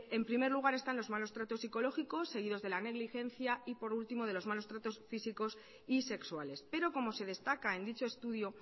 en primer lugar están los malos tratos psicológicos seguidos de la negligencia y por último de los malos tratos físicos y sexuales pero como se destaca en dicho estudio